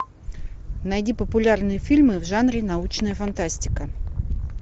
найди популярные фильмы в жанре научная фантастика